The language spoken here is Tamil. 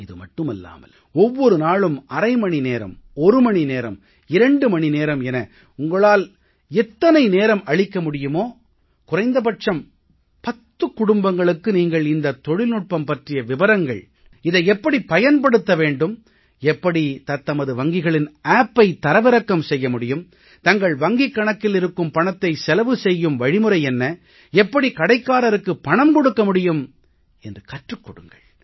இது மட்டுமில்லாமல் ஒவ்வொரு நாளும் அரை மணி நேரம் ஒரு மணி நேரம் 2 மணி நேரம் என உங்களால் எத்தனை நேரம் அளிக்க முடியுமோ குறைந்த பட்சம் 10 குடும்பங்களுக்கு நீங்கள் இந்த தொழில்நுட்பம் பற்றிய விபரங்கள் இதை எப்படி பயன்படுத்த வேண்டும் எப்படி தத்தமது வங்கிகளின் Appஐ தரவிறக்கம் செய்ய முடியும் தங்கள் வங்கிக் கணக்கில் இருக்கும் பணத்தை செலவு செய்யும் வழிமுறை என்ன எப்படி கடைக்காரருக்குப் பணம் கொடுக்க முடியும் என்று கற்றுக் கொடுங்கள்